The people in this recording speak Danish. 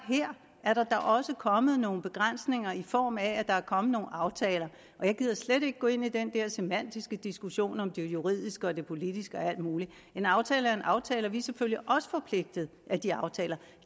at der her også er kommet nogle begrænsninger i form af at der er kommet nogle aftaler og jeg gider slet ikke gå ind i den der semantiske diskussion om det juridiske og det politiske og alt muligt en aftale er en aftale og vi er selvfølgelig også forpligtet af de aftaler